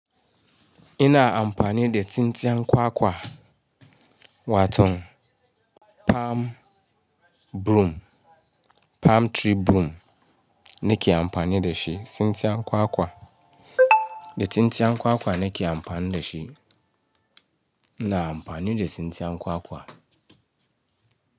Ina amfani da tsintsiyan kwakwa, waton palm broom, palm tree broom nake amfani da shi, tsintsiyan kwakwa. Da tsintsiyan kwakwa nake amfani da shi. Ina amfani da tsintsiyan kwakwa.